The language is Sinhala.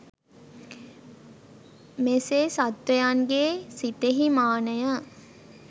මෙසේ සත්වයන්ගේ සිතෙහි මානය